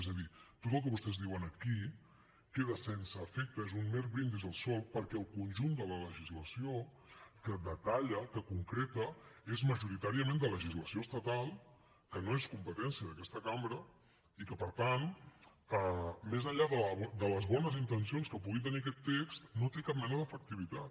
és a dir tot el que vostès diuen aquí queda sense efecte és un mer brindis al sol perquè el conjunt de la legislació que detalla que concreta és majoritàriament de legislació estatal que no és competència d’aquesta cambra i que per tant més enllà de les bones intencions que pugui tenir aquest text no té cap mena d’efectivitat